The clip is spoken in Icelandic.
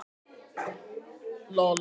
Keflavík í Vestur-Ísafjarðarsýslu.